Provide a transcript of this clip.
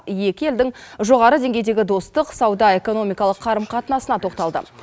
екі елдің жоғары деңгейдегі достық сауда экономикалық қарым қатынасына тоқталды